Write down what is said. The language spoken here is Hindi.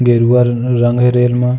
गेरुआ रं रंग है रेल में --